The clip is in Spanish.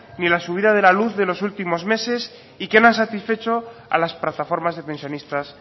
ni la subida de la luz de los últimos meses y que no ha satisfecho a las plataformas de pensionistas